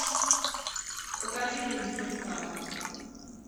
покажи день сурка